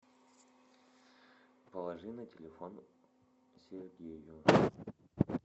положи на телефон сергею